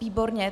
Výborně.